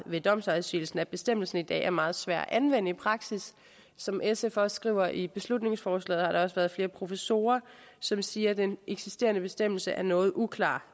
ved domsafsigelsen påpeget at bestemmelsen i dag er meget svær at anvende i praksis som sf også skriver i beslutningsforslaget har der også været flere professorer som siger at den eksisterende bestemmelse er noget uklar